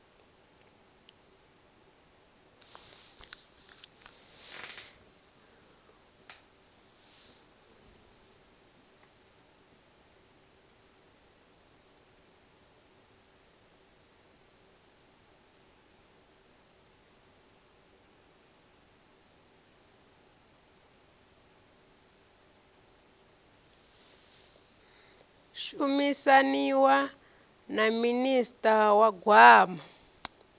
shumisaniwa na minista wa gwama